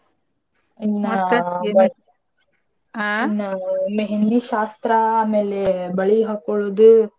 ನಾವು ಮೆಹಂದಿ ಶಾಸ್ತ್ರ ಆಮೇಲೆ ಬಳಿ ಹಾಕ್ಕೋಳೋದು.